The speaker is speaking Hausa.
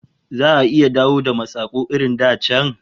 Za'a iya dawo da masaku irin da can kuwa?